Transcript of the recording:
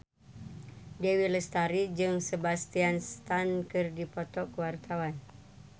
Dewi Lestari jeung Sebastian Stan keur dipoto ku wartawan